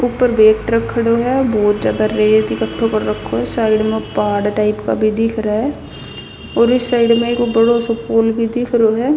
ऊपर भई एक ट्रक खड़ो ह बहुत रेत इक्कठो कर रखो हसाइड म पहाड़ टाइप का भी दिख रहा ह और इस साइड म एक बडो सो पुल भी दिख रो ह.